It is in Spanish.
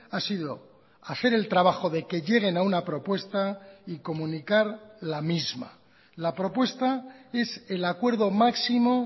ha sido hacer el trabajo de que lleguen a una propuesta y comunicar la misma la propuesta es el acuerdo máximo